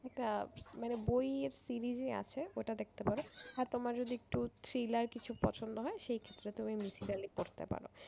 একটা মানে বই web series ই আছে ওটা দেখতে পারো। আর তোমার যদি একটু thriller কিছু পছন্দ হয় সেই ক্ষেত্রে তুমি মিথিক্যালি পড়তে পারো।